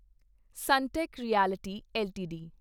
Sunteck Realty LTD